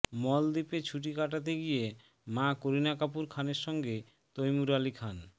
মলদ্বীপে ছুটি কাটাতে গিয়ে মা করিনা কাপুর খানের সঙ্গে তৈমুর আলি খান